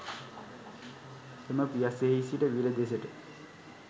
එම පියස්සෙහි සිට විල දෙසට